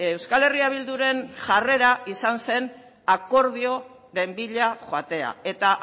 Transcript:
euskal herria bilduren jarrera izan zen akordioren bila joatea eta